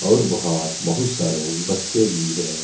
और बाहर बहुत सारे बच्चे भी हैं।